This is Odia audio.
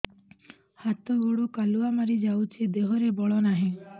ହାତ ଗୋଡ଼ କାଲୁଆ ମାରି ଯାଉଛି ଦେହରେ ବଳ ନାହିଁ